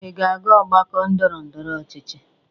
Ị ga-aga ọgbakọ ndọrọndọrọ ọchịchị.